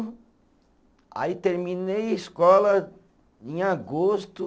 Aí terminei a escola em agosto.